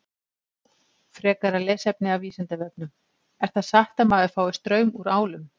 Frekara lesefni af Vísindavefnum: Er það satt að maður fái straum úr álum?